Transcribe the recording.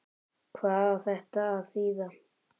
Hvað á þetta að þýða!